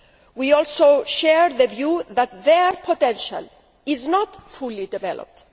We also share the view that their potential is not fully developed.